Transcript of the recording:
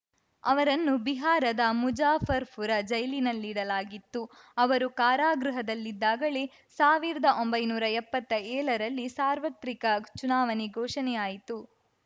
ಅವರನ್ನು ಬಿಹಾರದ ಮುಜಾಫರ್‌ಪುರ ಜೈಲಿನಲ್ಲಿಡಲಾಗಿತ್ತು ಅವರು ಕಾರಾಗೃಹದಲ್ಲಿದ್ದಾಗಲೇ ಸಾವಿರ್ದಾ ಒಂಬೈನೂರಾ ಎಪ್ಪತ್ತೇಳರಲ್ಲಿ ಸಾರ್ವತ್ರಿಕ ಚುನಾವಣೆ ಘೋಷಣೆಯಾಯಿತು